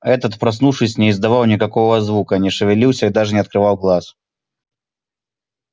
этот проснувшись не издавал никакого звука не шевелился и даже не открывал глаз